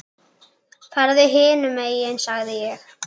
Farðu hinum megin sagði ég.